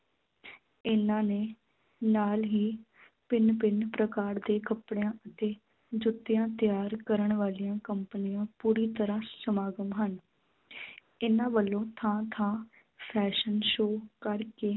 ਇਨ੍ਹਾਂ ਨੇ ਨਾਲ ਹੀ ਭਿੰਨ ਭਿੰਨ ਪ੍ਰਕਾਰ ਦੇ ਕੱਪੜਿਆਂ ਅਤੇ ਜੁੱਤਿਆਂ ਤਿਆਰ ਕਰਨ ਵਾਲੀਆਂ ਕੰਪਨੀਆਂ ਪੂਰੀ ਤਰ੍ਹਾਂ ਸਮਾਗਮ ਹਨ ਇਨ੍ਹਾਂ ਵੱਲੋਂ ਥਾਂ ਥਾਂ fashion show ਕਰਕੇ